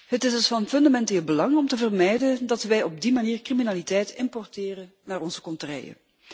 Het is dus van fundamenteel belang om te vermijden dat wij op die manier criminaliteit importeren naar onze contreien.